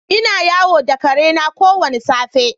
Ina yawo da ƙare na kowane safe.